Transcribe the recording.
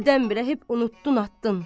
Birdən-birə hep unutdun, atdın.